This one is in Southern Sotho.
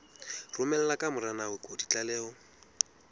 romela ka mora nako ditlaleho